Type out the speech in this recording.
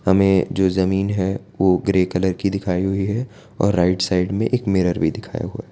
हमें जो जमीन है वो ग्रे कलर की दिखाई हुई है और राइट साइड में एक मिरर भी दिखाया हुआ।